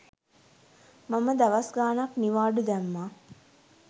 මම දවස් ගාණක් නිවාඩු දැම්මා